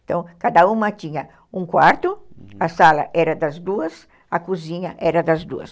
Então, cada uma tinha um quarto, a sala era das duas, a cozinha era das duas.